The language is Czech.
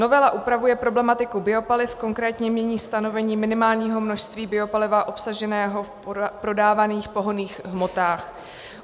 Novela upravuje problematiku biopaliv, konkrétně mění stanovení minimálního množství biopaliva obsaženého v prodávaných pohonných hmotách.